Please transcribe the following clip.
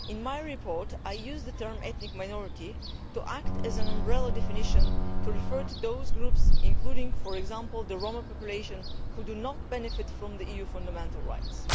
In my report, I use the term ethnic minority' to act as an umbrella definition to refer to those groups, including, for example, the Roma population, who do not benefit from EU fundamental rights.